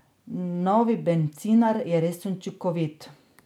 Novi bencinar je res učinkovit.